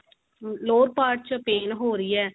lower part ਚ pain ਹੋ ਰਹੀ ਏ